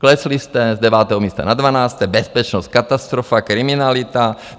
Klesli jste z devátého místa na dvanácté, bezpečnost katastrofa, kriminalita.